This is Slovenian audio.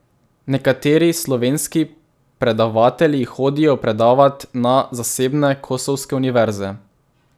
Nekateri slovenski predavatelji hodijo predavat na zasebne kosovske univerze.